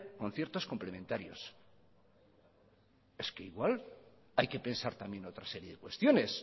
conciertos complementarios es que igual hay que pensar también otra serie de cuestiones